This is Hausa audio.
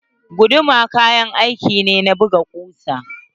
Guduma kayan aiki ne na buga kusa.